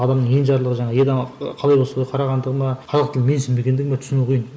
адамның енжарлығы жаңағы қалай болса солай қарағандығы ма қазақ тілін менсінбегендігі ме түсіну қиын